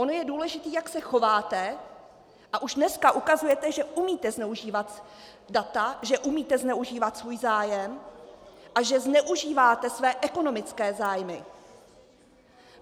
Ono je důležité, jak se chováte, a už dneska ukazujete, že umíte zneužívat data, že umíte zneužívat svůj zájem a že zneužíváte své ekonomické zájmy.